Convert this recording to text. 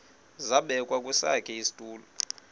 zabekwa kwesakhe isitulo